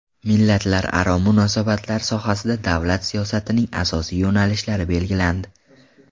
Millatlararo munosabatlar sohasida davlat siyosatining asosiy yo‘nalishlari belgilandi.